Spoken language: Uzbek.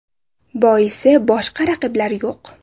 Boisi boshqa raqiblar yo‘q.